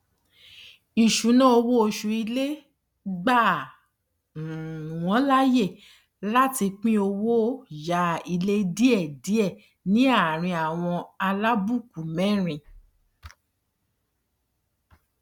isunawo oṣù ilé gba um wọn láyè láti pín owó yá ilé díẹdíẹ ní àárín àwọn alábùkù mẹrin